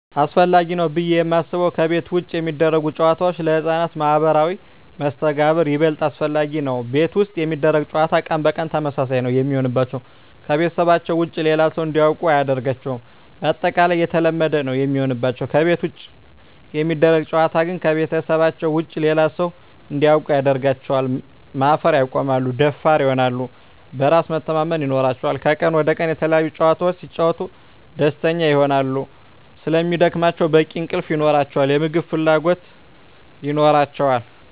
አሰፈላጊ ነው ብዬ የማስበው ከቤት ውጭ የሚደረጉ ጨዋታዎች ለህፃናት ማህበራዊ መስተጋብር ይበልጥ አስፈላጊ ነው። ቤት ውስጥ የሚደረግ ጨዋታ ቀን በቀን ተመሳሳይ ነው የሚሆንባቸው , ከቤተሰባቸው ውጭ ሌላ ሰው እንዲያውቁ አያደርጋቸውም ባጠቃላይ የተለመደ ነው የሚሆንባቸው። ከቤት ውጭ የሚደረግ ጨዋታ ግን ከቤተሰባቸው ውጭ ሌላ ሰው እንዲያውቁ ያደርጋቸዋል, ማፈር ያቆማሉ, ደፋር ይሆናሉ, በራስ መተማመን ይኖራቸዋል," ከቀን ወደ ቀን የተለያዪ ጨዋታዎች ሲጫወቱ ደስተኛ ይሆናሉ ስለሚደክማቸው በቂ እንቅልፍ ይኖራቸዋል, የምግብ ፍላጎት ይኖራቸዋል።